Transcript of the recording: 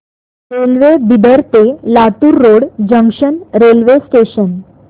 railway Bidar ते Latur road junction railway station